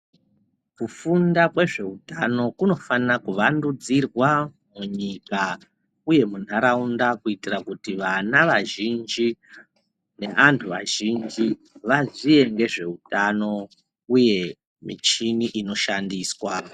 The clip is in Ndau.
Kufunda kwezveutano kunofanokuvandudzirwa munyika uye mundaraunda kuitira kuti vana vazhinji neantu azhinji vaziye ngezveutano uye michini inoshandiswa .